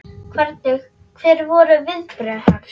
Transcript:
Hvernig, hver voru viðbrögð hans?